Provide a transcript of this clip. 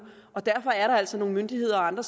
og derfor er der altså nogle myndigheder og andre